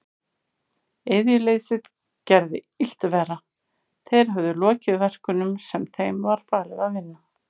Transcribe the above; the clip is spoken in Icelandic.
Iðjuleysið gerði illt verra, þeir höfðu lokið verkunum sem þeim var falið að vinna.